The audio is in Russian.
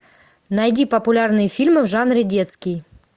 найди популярные фильмы в жанре детский